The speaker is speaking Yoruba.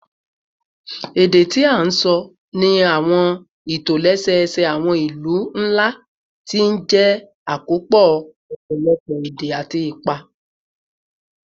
Èdè tí a ń sọ ní àwọn ìtòlẹ́sẹẹsẹ àwọn ìlú ńlá ti jẹ́ àkópọ̀ ọ̀pọ̀lọpọ̀ èdè àti ipa